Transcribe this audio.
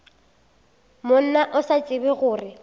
monna o sa tsebe gore